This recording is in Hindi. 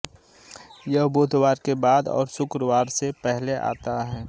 यह बुधवार के बाद और शुक्रवार से पहले आता है